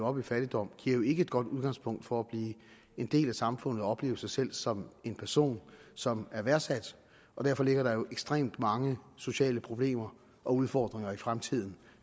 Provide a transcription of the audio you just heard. op i fattigdom jo ikke giver et godt udgangspunkt for at blive en del af samfundet og opleve sig selv som en person som er værdsat derfor ligger der jo ekstremt mange sociale problemer og udfordringer i fremtiden